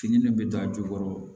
Fini min bɛ don a jukɔrɔ